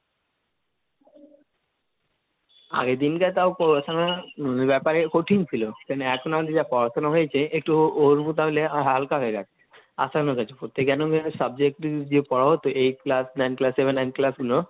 আগের দিন যা পড়াশুনার বেপারে কঠিন ছিল সেজন্যে এখন আর যেটা পড়াশোনা হয়েছে একটু হালকা হয়ে গেছে, আসান হয়ে গেছে, প্রত্যেকে কেন আমি আর subject যে পড়া হতো Eight class, nine Class, বা nine Class, গুলো,